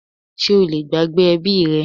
Sé o lè gbàgbé ẹbí rẹ?